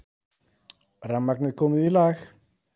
Rafmagnið komið í lag